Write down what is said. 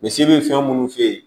Misi bɛ fɛn minnu f'e ye